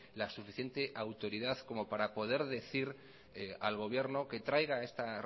la suficiente autoridad como para poder decir al gobierno que traiga esta